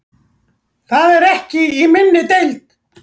Það er ekki í minni deild.